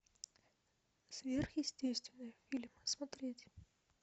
сверхъестественное фильм смотреть